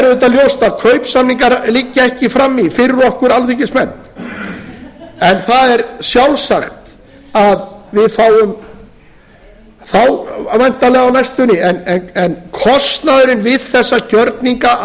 auðvitað ljóst að kaupsamningar liggja ekki frammi fyrir okkur alþingismenn en það er sjálfsagt að við fáum þá væntanlega á næstunni en kostnaðurinn við þessa gjörninga að